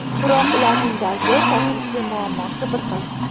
Biroq ularning dardi, tashvishi, muammosi bir xil.